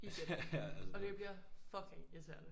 Igen og det bliver fucking irriterende